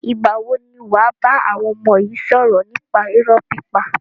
Ìgbà wo ni wàá bá àwọn ọmọ yi sọ̀rọ̀ nípa irọ́ pípa?